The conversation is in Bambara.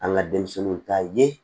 An ka denmisɛnninw ta ye